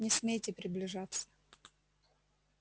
не смейте приближаться